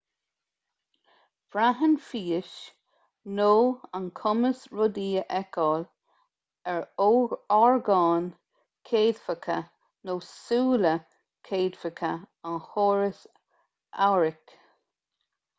braitheann fís nó an cumas rudaí a fheiceáil ar orgáin chéadfacha nó súile céadfacha an chórais amhairc